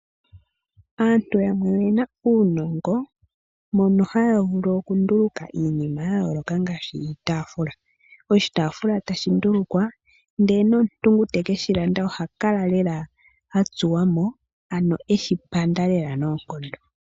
Aantu yamwe oyena uunongo mono haya vulu oku nduluka iinima ya yooloka ngashi iitafula, oshi taafua teshi nduluka nomuntu ngoka teshi landa oha kala lela atsuwamo, eshi panda noonkondo.